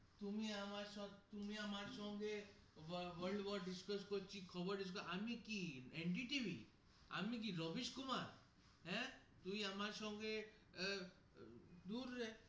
তুমি আমার শোতে তুমি আমার সঙ্গে আহ world war discuss করছি খবর এ আমি কি NDTV.